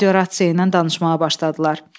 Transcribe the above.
Radiorasiya ilə danışmağa başladılar.